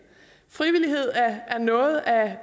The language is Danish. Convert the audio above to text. frivillighed er noget af